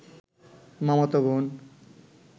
মামাতো বোন